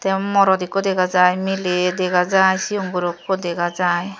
aro morot ikko dega jai miley dega jai sigon guro ikko dega jai.